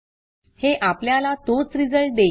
हे आपल्याला तोच रिझल्ट देईल